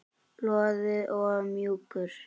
Loðinn og mjúkur.